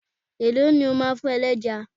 Èló ni o máa fún ẹlẹ́ja?